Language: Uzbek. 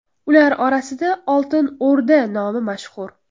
Ular orasida Oltin O‘rda nomi mashhur.